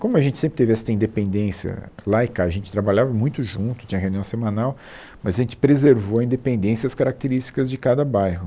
Como a gente sempre teve essa independência lá e cá, a gente trabalhava muito junto, tinha reunião semanal, mas a gente preservou a independência, as características de cada bairro.